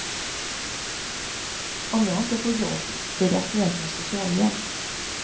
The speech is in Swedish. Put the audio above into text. Om jag inte får jobb blir det aktuellt med socialhjälp.